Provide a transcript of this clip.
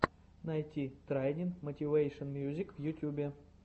найти трайнин мотивэйшен мьюзик в ютюбе